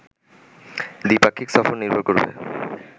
দ্বি-পাক্ষিক সফর নির্ভর করবে